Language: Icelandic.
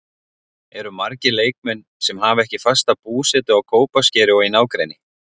Eru margir leikmenn sem hafa ekki fasta búsetu á Kópaskeri og í nágrenni?